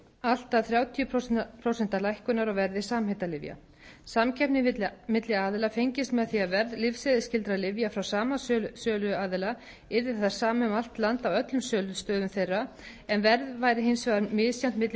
allt að þrjátíu prósent lækkunar á verði samheitalyfja samkeppni milli aðila fengist með því að verð lyfseðilsskyldra lyfja frá sama söluaðila yrði það sama um allt land á öllum sölustöðum þeirra en verð væri hins vegar misjafnt milli